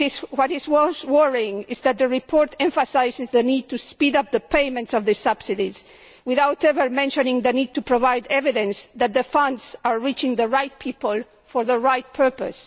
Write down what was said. What is most worrying is that the report emphasises the need to speed up the payments of the subsidies, without ever mentioning the need to provide evidence that the funds are reaching the right people for the right purpose.